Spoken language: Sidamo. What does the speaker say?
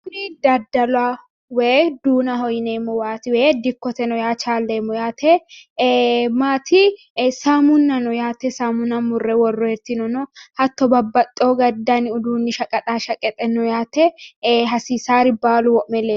Kuni dalaho woy duunaho yineemowat Woy dikkoteno yaa chaaleemo yaate Samunna no yaate samuna mure woroyitino No hattono babbaxiyo dani uduuni shaqaxashaqaxe No yaate hasiisar baalu wo'me leelayo